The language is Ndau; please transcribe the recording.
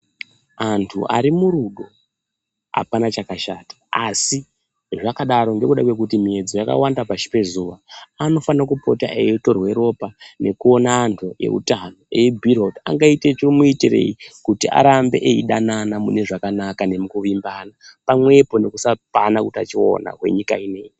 Antu arimurudo apana chakashata asi zvakadaro ngekuda kwekuti miyedzo yakawanda pashi pezuwa, anofanira kupota eitorwe ropa nekuona antu eutano eibhuirwa kuti angaita chimuitirei kuti arambe eidanana mune zvakanaka nemukuvimbana pamwepo nekusapanana utachiona hwenyika ineyi.